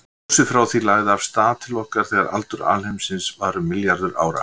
Ljósið frá því lagði af stað til okkar þegar aldur alheimsins var um milljarður ára.